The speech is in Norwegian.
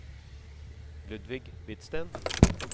Ludvig Hvidsten